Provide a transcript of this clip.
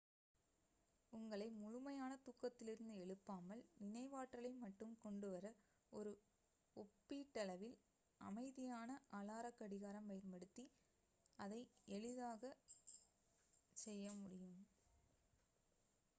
உங்களை முழுமையாக தூக்கத்திலிருந்து எழுப்பாமல் நினைவாற்றலை மட்டும் கொண்டு வர ஒப்பீட்டளவில் அமைதியான அலார கடிகாரம் பயன்படுத்தி இதை எளிதாகச் செய்ய முடியும்